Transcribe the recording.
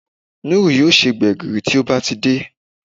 Núrù yóò se gbẹ̀gìrì tí ó bá ti dé